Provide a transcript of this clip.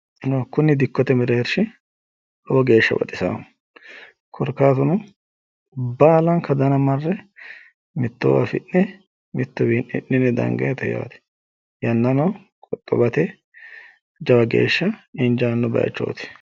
Kuni dikkote mereershi lowo geeshsha baxisaaho korkaatuno baalanka dana marre mittowa afi'ne mittuwi hidhine dangayiite yaate yannano qoxxowate jawa geeshsha injaanno bayiichooti.